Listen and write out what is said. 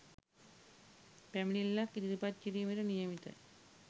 පැමිණිල්ලක් ඉදිරිපත් කිරීමට නියමිතය